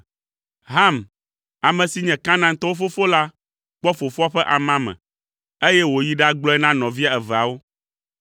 Ham, ame si nye Kanaantɔwo fofo la kpɔ fofoa ƒe amame, eye wòyi ɖagblɔe na nɔvia eveawo.